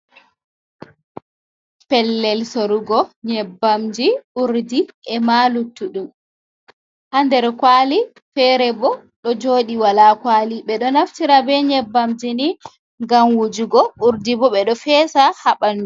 Pellel sorugo nyebbamji urdi e ma luttudum, ha nder kwali fere bo ɗo joɗi wala kwali, ɓe ɗo naftira be nyebbamji ni ngam wujugo, urdi bo ɓe ɗo fesa ha ɓandu.